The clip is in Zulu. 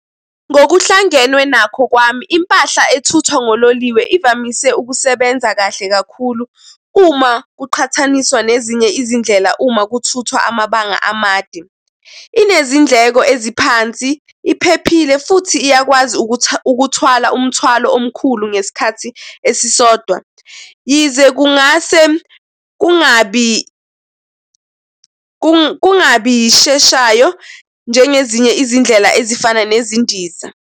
Ngokuhlangenwe nakho kwami, impahla ethuthwa ngololiwe ivamise ukusebenza kahle kakhulu uma kuqhathaniswa nezinye izindlela uma kuthuthwa amabanga amade. Inezindleko eziphansi, iphephile futhi iyakwazi ukuthwala umthwalo omkhulu ngesikhathi esisodwa, yize kungase kungabi kungabi yisheshayo njengezinye izindlela ezifana nezindiza.